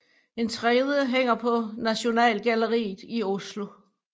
En tredje hænger på Nasjonalgalleriet i Oslo